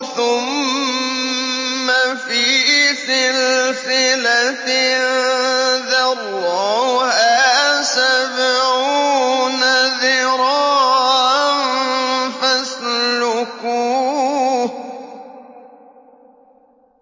ثُمَّ فِي سِلْسِلَةٍ ذَرْعُهَا سَبْعُونَ ذِرَاعًا فَاسْلُكُوهُ